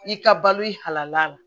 I ka balo i halala